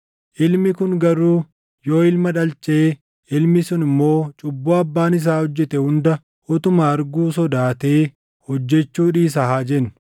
“Ilmi kun garuu yoo ilma dhalchee, ilmi sun immoo cubbuu abbaan isaa hojjete hunda utuma arguu sodaatee hojjechuu dhiisa haa jennu: